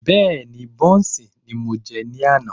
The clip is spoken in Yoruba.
Bẹ́ẹ́ni, bọ́ùnsì ni mo jẹ ní àná.